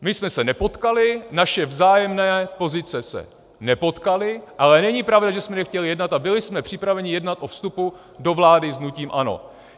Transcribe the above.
My jsme se nepotkali, naše vzájemné pozice se nepotkaly, ale není pravda, že jsme nechtěli jednat, a byli jsme připraveni jednat o vstupu do vlády s hnutím ANO.